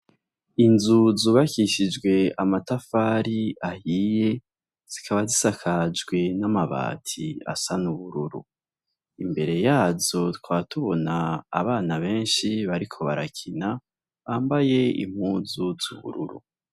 Inzu zubakishijwe amatafari ahiye, zikaba zisakajwe n'amabati asa n'ubururu ,imbere yazo tukaba tubona abana benshi bariko barakina bambaye impuzu z'ubururu.